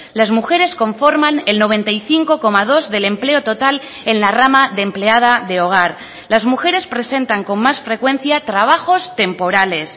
las mujeres conforman el noventa y cinco coma dos del empleo total en la rama de empleada de hogar las mujeres presentan con más frecuencia trabajos temporales